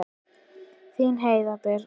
Þín Heiðrún Birna.